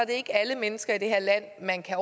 ikke er alle mennesker i det her land man kan